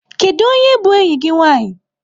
Kedu onye bụ enyi gị nwanyị?